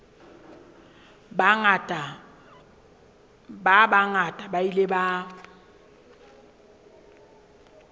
ba bangata ba ile ba